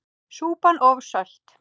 Súpan of sölt!